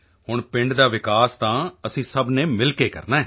ਹੁਣ ਪਿੰਡ ਦਾ ਵਿਕਾਸ ਤਾਂ ਅਸੀਂ ਸਭ ਨੇ ਮਿਲ ਕੇ ਕਰਨਾ ਹੈ